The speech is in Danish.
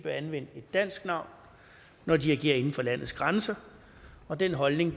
anvende et dansk navn når de agerer inden for landets grænser og den holdning